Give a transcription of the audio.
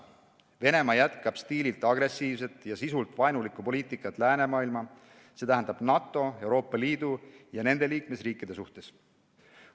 Venemaa jätkab stiililt agressiivset ja sisult vaenulikku poliitikat läänemaailma, see tähendab NATO, Euroopa Liidu ja nende liikmesriikide suhtes.